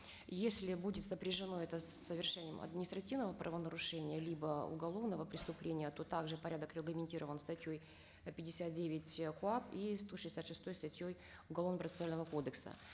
если будет сопряжено это с совершением административного правонарушения либо уголовного преступления то так же порядок регламентирован статьей э пятьдесят девять э коап и сто шестьдесят шестой статьей уголовно процессуального кодекса